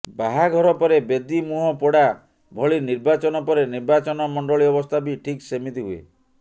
ବାହାଘର ପରେ ବେଦୀ ମୁହଁ ପୋଡ଼ା ଭଳି ନିର୍ବାଚନ ପରେ ନିର୍ବାଚନମଣ୍ଡଳି ଅବସ୍ଥା ବି ଠିକ୍ ସେମିତି ହୁଏ